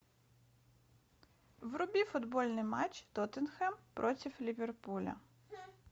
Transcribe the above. вруби футбольный матч тоттенхэм против ливерпуля